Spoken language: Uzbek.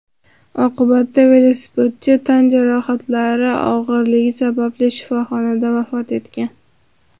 Oqibatda velosipedchi tan jarohatlari og‘irligi sababli shifoxonada vafot etgan.